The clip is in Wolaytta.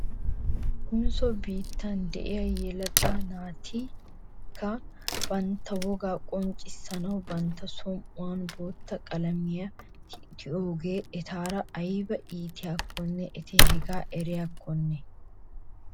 Konsso biittan de'iyaa yelaga naattikka bantta wogaa qonccissanaw bantta som'uwan bootta qalamiyaa tiyiyoogee etaara aybba iitiyaakkonne eti hegaa eriyoknaa ?